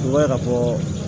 I b'a ye ka fɔ